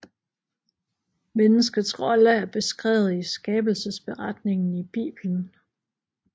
Menneskets rolle er beskrevet i Skabelsesberetningen i Bibelen